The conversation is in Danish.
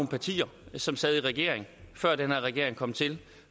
partier som sad i regering før den her regering kom til